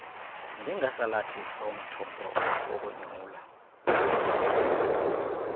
njengesalathisi nomthombo wokonyula